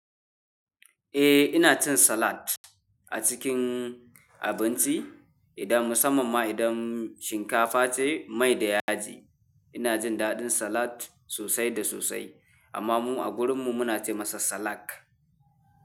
Ina cin salat a cikin abinci. Idan musamman ma idan shinkafa ce mai da yaji ina jin daɗin salat sosai da sosai amma mu a gurin mu muna ce masa salak.